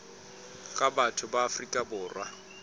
ka batho ba afrika borwa